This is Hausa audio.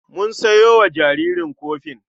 Mun sayo wa jaririn kofin.